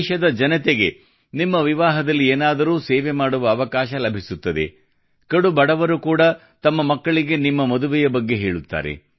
ದೇಶದ ಜನತೆಗೆ ನಿಮ್ಮ ವಿವಾಹದಲ್ಲಿ ಏನಾದರೂ ಸೇವೆ ಮಾಡುವ ಅವಕಾಶ ಲಭಿಸುತ್ತದೆ ಕಡು ಬಡವರು ಕೂಡ ತಮ್ಮ ಮಕ್ಕಳಿಗೆ ನಿಮ್ಮ ಮದುವೆಯ ಬಗ್ಗೆ ಹೇಳುತ್ತಾರೆ